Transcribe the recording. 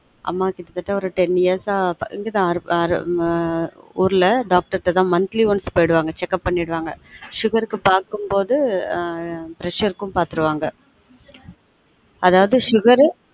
அம்மா கிட்டதட்ட ஒரு ten years அ இங்க தான் ஆங்க் ஆன் ஊர்ல dr கிட்ட தான் monthly once போய்டு வாங்க check up பன்னிடுவாங்க sugar க்கு பார்க்கும் போது preesure க்கும் பாத்துடுவாங்க